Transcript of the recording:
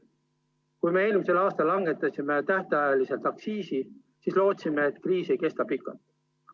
Kui me eelmisel aastal langetasime tähtajaliselt aktsiisi, siis lootsime, et kriis ei kesta pikalt.